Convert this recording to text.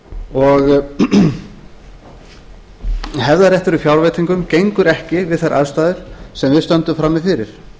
og hefðarréttur í fjárveitingum gengur ekki við þær aðstæður sem við stöndum frammi fyrir